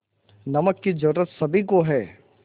नमक की ज़रूरत सभी को है